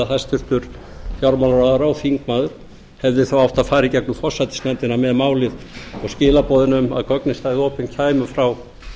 hæstvirtur fjármálaráðherra og þingmaður hefði þá átt að fara í gegnum forsætisnefndina með málið og skilaboðin um að gögnin stæðu opin kæmu frá